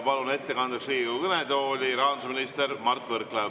Palun ettekandeks Riigikogu kõnetooli rahandusminister Mart Võrklaeva.